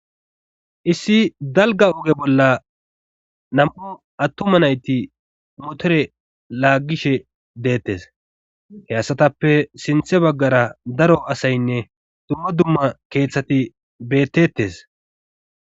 issi dalga oge bolla nam7u attuma nayti motore laaggishe deettes he asatappe sinthe baggara daro asaynne dumma dumma keeththati beettettes